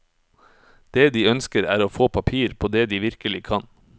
Det de ønsker er å få papir på det de virkelig kan.